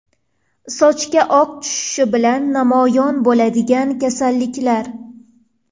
Sochga oq tushishi bilan namoyon bo‘ladigan kasalliklar.